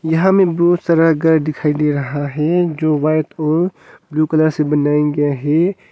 यहां में बहुत सारा घर दिखाई दे रहा है जो वाइट और ब्ल्यू कलर से बनाया गया है।